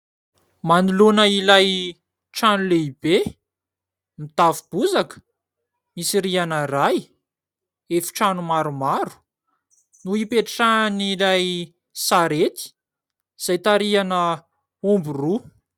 Manoloana ilay trano lehibe: mitafo bozaka , misy rihana iray , efi-trano maromaro, no ipetrahan'ilay sarety izay tarihina omby roa.